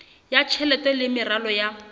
ya tjhelete le meralo ya